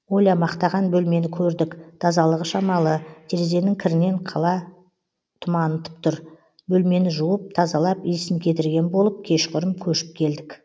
оля мақтаған бөлмені көрдік тазалығы шамалы терезенің кірінен қала тұманытып тұр бөлмені жуып тазалап иісін кетірген болып кешқұрым көшіп келдік